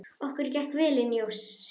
Okkur gekk vel inn ósinn.